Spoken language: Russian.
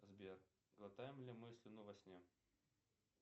сбер глотаем ли мы слюну во сне